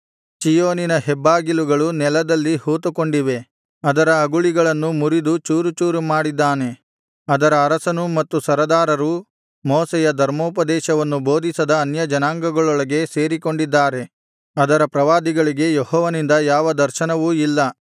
ಚೀಯೋನಿನ ಹೆಬ್ಬಾಗಿಲುಗಳು ನೆಲದಲ್ಲಿ ಹೂತುಕೊಂಡಿವೆ ಅದರ ಅಗುಳಿಗಳನ್ನು ಮುರಿದು ಚೂರು ಚೂರು ಮಾಡಿದ್ದಾನೆ ಅದರ ಅರಸನೂ ಮತ್ತು ಸರದಾರರೂ ಮೋಶೆಯ ಧರ್ಮೋಪದೇಶವನ್ನು ಬೋಧಿಸದ ಅನ್ಯಜನಾಂಗಗಳೊಳಗೆ ಸೇರಿಕೊಂಡಿದ್ದಾರೆ ಅದರ ಪ್ರವಾದಿಗಳಿಗೆ ಯೆಹೋವನಿಂದ ಯಾವ ದರ್ಶನವೂ ಇಲ್ಲ